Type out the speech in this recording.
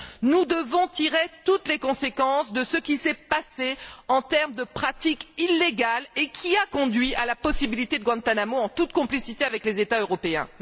Nous devons tirer toutes les conséquences de ce qui s'est passé en termes de pratiques illégales et qui a conduit à l'ouverture de Guantánamo, en toute complicité avec les États européens.